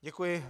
Děkuji.